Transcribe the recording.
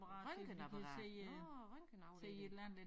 Røntgenapparat nåh røntgenafdeling